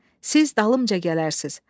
Siz dalımca gələrsiz.